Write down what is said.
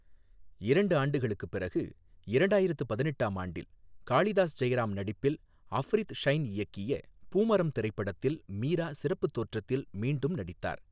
இரண்டு ஆண்டுகளுக்குப் பிறகு இரண்டாயிரத்து பதினெட்டாம் ஆண்டில், காளிதாஸ் ஜெயராம் நடிப்பில் அஃப்ரித் ஷைன் இயக்கிய பூமரம் திரைப்படத்தில் மீரா சிறப்புத் தோற்றத்தில் மீண்டும் நடித்தார்.